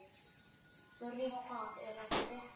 Þurí, hvað er að frétta?